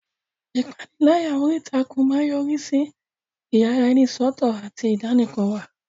Ìpániláyà orí ìtàkùn máa ń yọrí sí ìyaraẹnisọ́tọ̀ àti ìdánìkanwà.